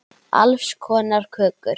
Alls konar kökur.